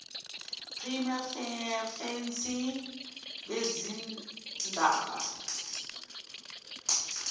prima facie bezindaba